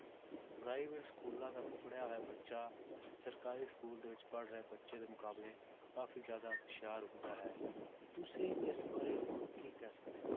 Private schools ਦਾ ਪੜ੍ਹਿਆ ਹੋਇਆ ਬੱਚਾ ਸਰਕਾਰੀ school ਵਿੱਚ ਪੜ੍ਹ ਰਹੇ ਬੱਚੇ ਦੇ ਮੁਕਾਬਲੇ ਕਾਫ਼ੀ ਜ਼ਿਆਦਾ ਹੁਸ਼ਿਆਰ ਹੁੰਦਾ ਹੈ, ਤੁਸੀਂ ਇਸ ਬਾਰੇ ਹੋਰ ਕੀ ਕਹਿ ਸਕਦੇ ਹੋ